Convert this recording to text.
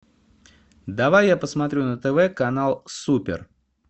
давай я посмотрю на тв канал супер